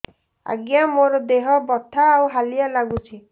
ଆଜ୍ଞା ମୋର ଦେହ ବଥା ଆଉ ହାଲିଆ ଲାଗୁଚି